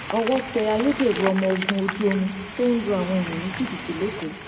owó tẹ ayédèrú ọmọ ogun ojú omi tó ń lu àwọn èèyàn ní jìbìtì lẹkọọ